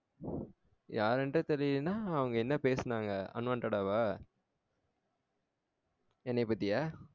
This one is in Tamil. யார் என்றே தெரிலன்னா அவங்க என்ன பேசுனாங்க unwanted ஆ வா? என்னையா பத்தியா